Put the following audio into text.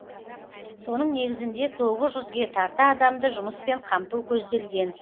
соның негізінде тоғыз жүзге тарта адамды жұмыспен қамту көзделген